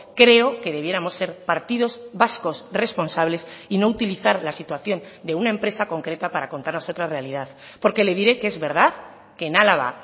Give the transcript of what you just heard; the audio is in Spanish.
creo que debiéramos ser partidos vascos responsables y no utilizar la situación de una empresa concreta para contarnos otra realidad porque le diré que es verdad que en álava